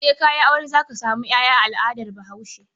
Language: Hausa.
Sai ka yi aure za ka samu ƴaƴa a al'adar Bahaushe.